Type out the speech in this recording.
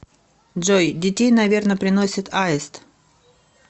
джой детей наверно приносит аист